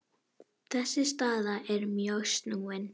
Þessi staða er mjög snúin.